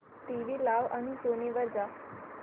TV लाव आणि Sony वर जा